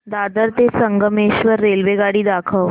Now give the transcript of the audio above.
दादर ते संगमेश्वर रेल्वेगाडी दाखव